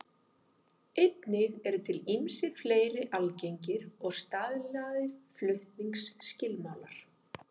Einnig eru til ýmsir fleiri algengir og staðlaðir flutningsskilmálar.